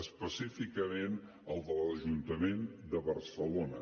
específicament el de l’ajuntament de barcelona